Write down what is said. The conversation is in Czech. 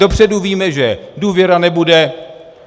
Dopředu víme, že důvěra nebude.